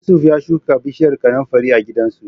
Yusuf ya shuka bishiyar kanunfari a gidansu.